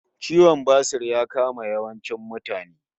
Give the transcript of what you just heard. Ciwon basur ya kama yawancin mutane